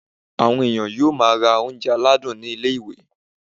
Àwọn èèyàn yóò máa ra oúnjẹ aládùn ní ilé-ìwé